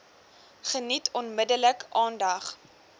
geniet onmiddellik aandag